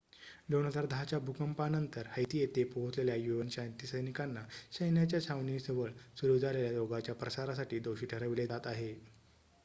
2010 च्या भूकंपानंतर हैती येथे पोहचलेल्या un शांती सैनिकांना सैन्याच्या छावणीजवळ सुरू झालेल्या रोगाच्या प्रसारासाठी दोषी ठरविले जात आहे